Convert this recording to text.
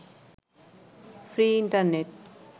free internet